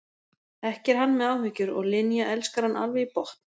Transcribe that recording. Ekki er hann með áhyggjur og Linja elskar hann alveg í botn.